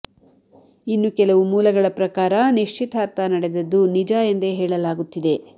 ಇನ್ನು ಕೆಲವು ಮೂಲಗಳ ಪ್ರಕಾರ ನಿಶ್ಚಿತಾರ್ಥ ನಡೆದದ್ದು ನಿಜ ಎಂದೇ ಹೇಳಲಾಗುತ್ತಿದೆ